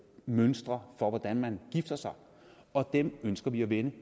mønstre for hvordan man gifter sig dem ønsker vi at vende